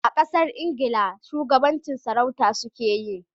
Kasar Ingila shugabancin sarauta su ke yi